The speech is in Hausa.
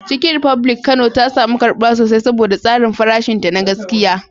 Chicken republic Kano ta samu karbuwa sosai saboda tsarin farashinta na gaskiya.